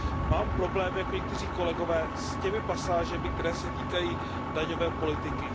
Mám problém jako někteří kolegové s těmi pasážemi, které se týkají daňové politiky.